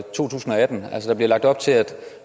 atten altså der bliver lagt op til